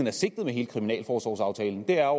er sigtet med hele kriminalforsorgsaftalen er